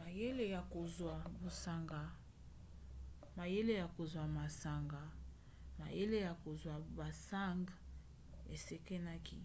mayele ya kozwa basang ekesenaki.